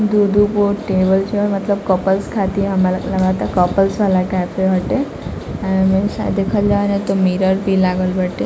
दो-दो को टेबल छ मतलब कपलस खाती मतलब कपल वाला कैफे बाटे एण्ड देखी जाएल तो मिरर भी बाटे।